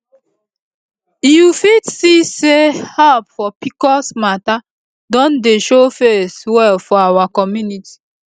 you fit see say help for pcos matter don dey show face well for our community